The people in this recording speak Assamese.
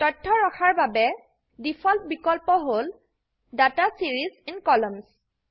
তথ্য ৰখাৰ বাবে প্লট ডিফল্ট বিকল্প হল ডাটা ছিৰিজ ইন কলাম্নছ